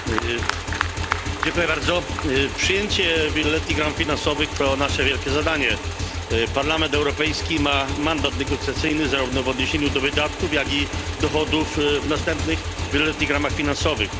Panie Przewodniczący! Przyjęcie wieloletnich ram finansowych to nasze wielkie zadanie. Parlament Europejski ma mandat negocjacyjny zarówno w odniesieniu do wydatków, jak i dochodów w następnych wieloletnich ramach finansowych.